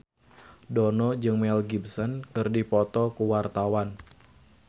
Dono jeung Mel Gibson keur dipoto ku wartawan